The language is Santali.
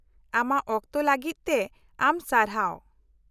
-ᱟᱢᱟᱜ ᱚᱠᱛᱚ ᱞᱟᱹᱜᱤᱫ ᱛᱮ ᱟᱢ ᱥᱟᱨᱦᱟᱣ ᱾